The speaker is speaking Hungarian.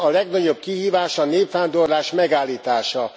Nem, a legnagyobb kihívás a népvándorlás megállítása!